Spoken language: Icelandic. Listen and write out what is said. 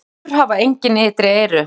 Moldvörpur hafa engin ytri eyru.